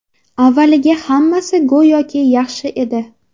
Avvaliga hammasi go‘yoki yaxshi edi.